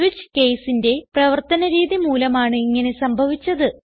switch caseന്റെ പ്രവർത്തന രീതി മൂലമാണ് ഇങ്ങനെ സംഭവിച്ചത്